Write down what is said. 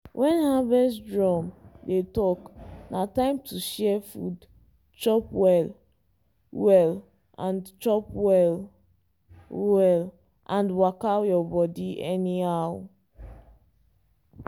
when harvest drum dey talk na time to share food chop well-well and chop well-well and waka your body anyhow.